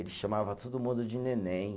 Ele chamava todo mundo de neném.